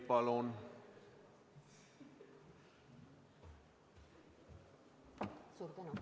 Suur tänu!